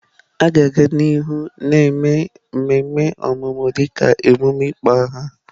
A ga-aga n'ihu na-eme mmemme ọmụmụ dịka emume ịkpọ aha.